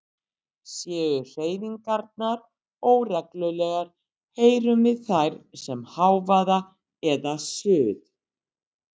Séu hreyfingarnar óreglulegar heyrum við þær sem hávaða eða suð.